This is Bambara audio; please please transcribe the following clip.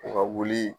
U ka wuli